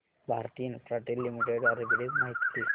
Bharti Infratel limited arbitrage माहिती दे